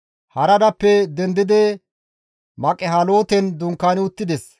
Haradappe dendidi Maqihaloten dunkaani uttides.